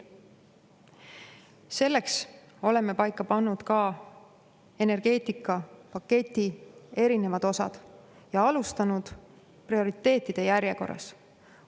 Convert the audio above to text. Selleks oleme paika pannud ka energeetikapaketi erinevad osad ja alustanud prioriteetide järjekorras.